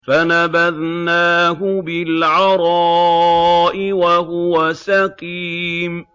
۞ فَنَبَذْنَاهُ بِالْعَرَاءِ وَهُوَ سَقِيمٌ